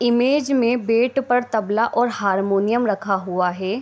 Image मे bed पर तबला और हारमोनियम रखा हुआ हे।